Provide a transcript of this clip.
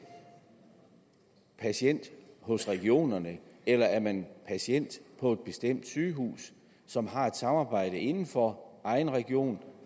patient hos regionerne eller er man patient på et bestemt sygehus som har et samarbejde inden for egen region